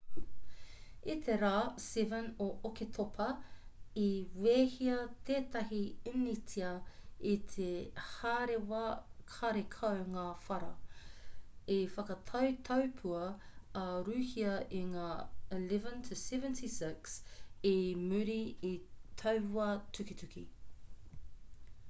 i te rā 7 o oketopa i wehea tētahi initia i te hārewa karekau ngā whara i whakatau taupua a rūhia i ngā ii-76 i muri i taua tukituki